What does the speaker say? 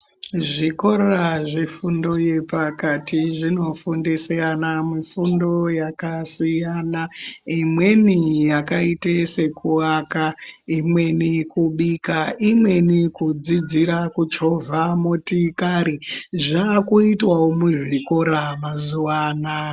Zvikora zvefundo yepakati zvinofundisa ana fundo yakasiyana imweni yakaite sekuaka imweni kubika imweni kudzidzira kuchovha motikari zvaakuitwao muzvikora mazuwa anaya.